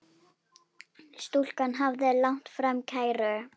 Stúlkan hafði lagt fram kæru.